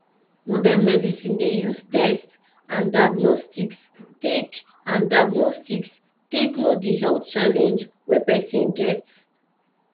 modern medicine dey use tests and diagnostics take and diagnostics take know di health challenge wey person dey get